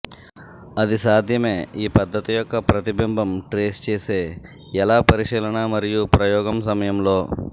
అది సాధ్యమే ఈ పద్ధతి యొక్క ప్రతిబింబం ట్రేస్చేసే ఎలా పరిశీలన మరియు ప్రయోగం సమయంలో